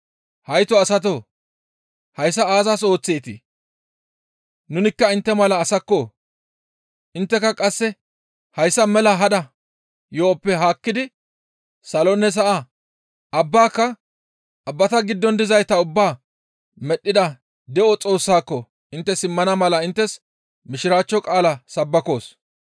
«Hayto asatoo! Hayssa aazas ooththeetii? Nunikka intte mala asakko! Intteka qasse hayssa mela hada yo7oppe haakkidi salonne sa7a, abbaka, abbata giddon dizayta ubbaa medhdhida de7o Xoossaako intte simmana mala inttes mishiraachcho qaala sabbakoos.